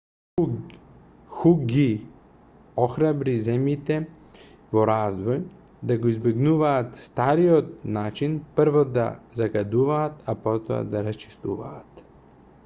ху ги охрабри земјите во развој да го избегнуваат стариот начин прво да загадуваат а потоа да расчистуваат